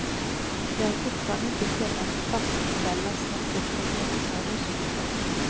Det har fortfarande inte kunnat fastställas när kuppen genomfördes. punkt